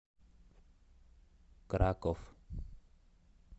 краков